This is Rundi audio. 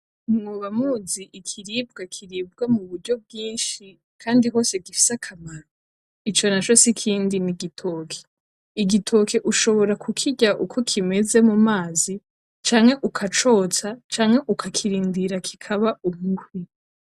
Mwoba muzi ikiribwa kiribwa muburyo bwinshi kandi hose gifise akamaro? ico naco sikindi n'igitoke. Igitoke ushobora kukirya uko kimeze mumazi canke, ukacotsa, canke ukakirindira kikaba umuhwi.